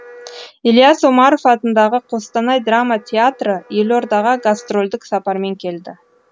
ілияс омаров атындағы қостанай драма театры елордаға гастрольдік сапармен келді